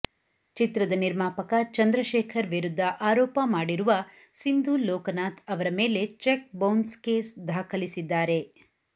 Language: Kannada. ಚಿತ್ರದ ನಿರ್ಮಾಪಕ ಚಂದ್ರಶೇಖರ್ ವಿರುದ್ಧ ಆರೋಪ ಮಾಡಿರುವ ಸಿಂಧು ಲೋಕನಾಥ್ ಅವರ ಮೇಲೆ ಚೆಕ್ ಬೌನ್ಸ್ ಕೇಸ್ ದಾಖಲಿಸಿದ್ದಾರೆ